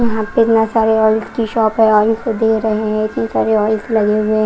यहां पे इतना सारे ऑयल की शॉप है ऑइल्स दे रहे हैं इतने सारे ऑयल्स लगे हुए हैं।